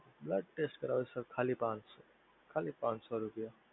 blood test માટે ખાલી પાંચસો, ખાલી પાંચસો રૂપિયા